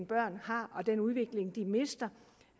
børn har og den udvikling som de mister